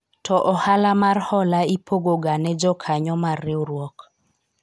To ohala mar hola ipogoga ne jokanyo mar riwruok